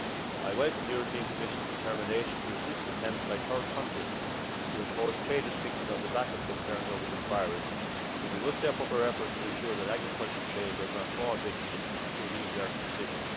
I welcome the European Commission's determination to resist attempts by third countries to impose trade restrictions on the back of concerns over this virus, but we must step up our efforts to ensure that agricultural trade does not fall victim to a knee jerk decision.